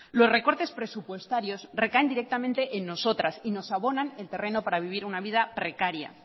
los recortes presupuestarios recaen directamente en nosotras y nos abonan el terreno para vivir una vida precaria